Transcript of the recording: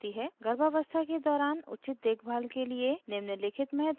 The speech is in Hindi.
गर्भावस्था के दौरान उचित देखभाल के लिए निम्नलिखित महत्वपूर्ण हैं